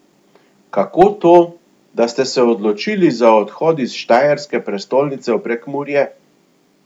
Kako to, da ste se odločili za odhod iz štajerske prestolnice v Prekmurje?